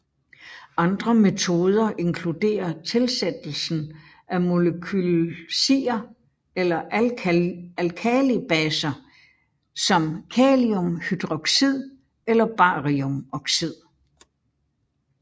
Andre metoder inkluderer tilsættelsen af molekylsier eller alkalibaser som kaliumhydroxid eller bariumoxid